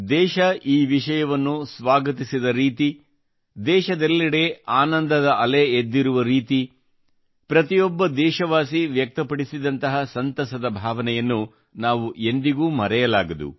ದೇಶ ಈ ವಿಷಯವನ್ನು ಸ್ವಾಗತಿಸಿದ ರೀತಿ ದೇಶದೆಲ್ಲೆಡೆ ಆನಂದದ ಅಲೆ ಎದ್ದಿರುವ ರೀತಿ ಪ್ರತಿಯೊಬ್ಬ ದೇಶವಾಸಿ ವ್ಯಕ್ತಪಡಿಸಿದಂತಹ ಸಂತಸದ ಭಾವನೆಯನ್ನು ನಾವು ಎಂದಿಗೂ ಮರೆಯಲಾಗದು